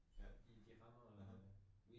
Ja. mhm